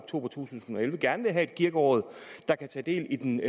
to tusind og elleve gerne vil have et kirkeråd der kan tage del i den